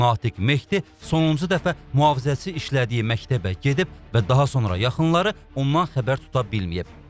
Natiq Mehdi sonuncu dəfə mühafizəçi işlədiyi məktəbə gedib və daha sonra yaxınları ondan xəbər tuta bilməyib.